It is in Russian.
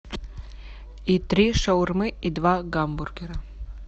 и три шаурмы и два гамбургера